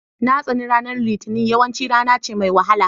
Na tsani ranar litinin, yawanci rana ce mai wahala